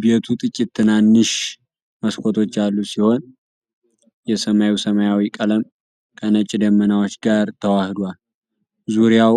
ቤቱ ጥቂት ትናንሽ መስኮቶች ያሉት ሲሆን የሰማዩ ሰማያዊ ቀለም ከነጭ ደመናዎች ጋር ተዋህዷል። ዙሪያው